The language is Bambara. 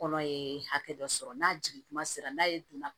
Kɔnɔ ye hakɛ dɔ sɔrɔ n'a jigin kuma sera n'ale donna